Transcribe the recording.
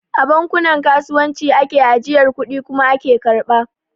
A bankunan kasuwanci ake ajiyar kudi kuma ake karɓa